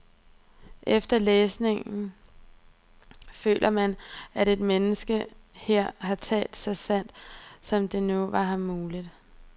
Efter læsningen føler man, at et menneske her har talt så sandt, som det nu var ham muligt.